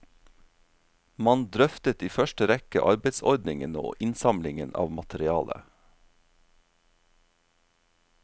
Man drøftet i første rekke arbeidsordningen og innsamlingen av materiale.